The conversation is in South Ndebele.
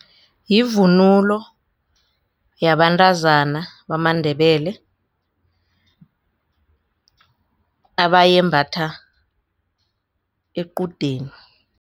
Yivunulo yabantazana bamaNdebele abayembatha equdeni.